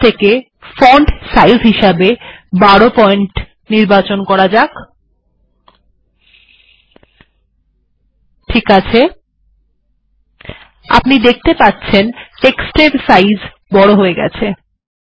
এখন যদি font size হিসাবে ১২ এর নির্বাচন করা হয় তাহলে দেখা যাচ্ছে লেখাগুলি বড় হয়ে গেছে